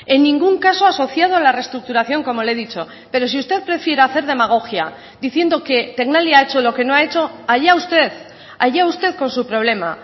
en ningún caso asociado a la reestructuración como le he dicho pero si usted prefiere hacer demagogia diciendo que tecnalia ha hecho lo que no ha hecho allá usted allá usted con su problema